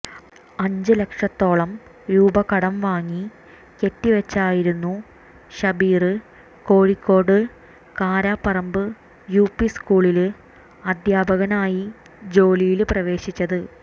അഞ്ച് ലക്ഷത്തോളം രൂപ കടം വാങ്ങി കെട്ടിവെച്ചായിരുന്നു ഷബീര് കോഴിക്കോട് കാരപ്പറമ്പ് യുപി സ്കൂളില് അധ്യാപകനായി ജോലിയില് പ്രവേശിച്ചത്